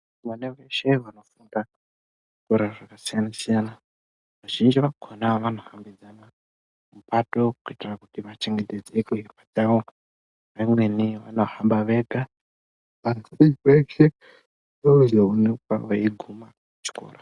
Vana veshe vanofunda, zvikora zvakasiyana-siyana, vazhinji vakhona vanohambidzana, mupato kuitira kuti vachengetedzeke. Kundau dzimweni vanohamba vega, asi veshe vanozoonekwa vaeiguma kuchikora.